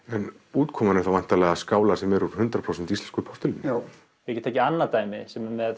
útkoman er þá skálar sem eru úr hundrað prósent íslensku postulíni ég get tekið annað dæmi sem er með